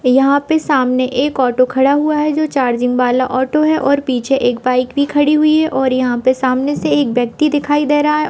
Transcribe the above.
यहाँ पे सामने एक ऑटो खड़ा हुआ है जो चार्जिग वाला ऑटो है ओर पीछे एक बाइक भी खडी हुई है ओर यहाँ पे सामने से एक व्यक्ति दिखाई दे रहा है।